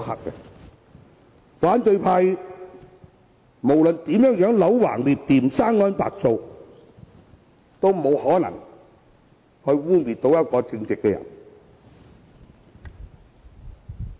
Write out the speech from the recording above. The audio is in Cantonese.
無論反對派如何"戾橫折曲"、"生安白造"，也不能成功污衊一個正直的人。